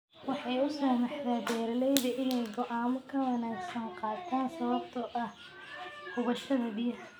Waxay u saamaxdaa beeralayda inay go'aamo ka wanagsan gaadhaan sababta oo ah hubaasha biyaha.